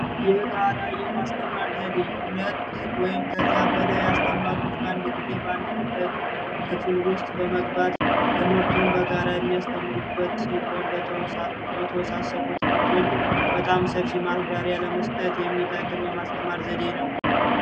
የጋራ የማስተማር ዘዴ ሁለት ወይም ከዚያ በላይ የሆኑ አስተማሪዎች በአንድ ጊዜ በክፍል ውስጥ በመግባት ትምህርቱን በጋራ የሚያስተምሩበት ሲሆን ለተወሳሰቡ ትምህርቶች በጣም ሰፊ ማብራሪያ ለመስጠት የሚጠቅም የማስተማር ዘዴ ነው።